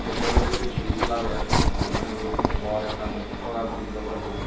ibey olode ikko brij lager jiyot nahi bor ekkan sora brij obow ibe.